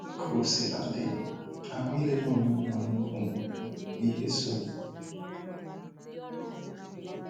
Kaosiladi, agwa ilele onyonyo nnukwu nwere nnukwu ihe so